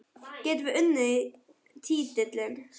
Getum við unnið titilinn?